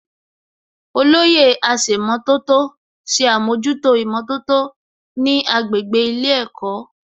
Olóyè aṣèmọ̀tótó ṣe àmójútó ìmọ̀tótó ní agbègbè ilé ẹ̀kọ́